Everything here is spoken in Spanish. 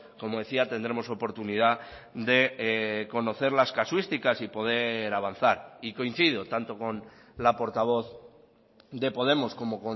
como decía tendremos oportunidad de conocer las casuísticas y poder avanzar y coincido tanto con la portavoz de podemos como